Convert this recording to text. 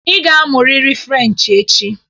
Ị ga-amụrịrị Frenchị echi!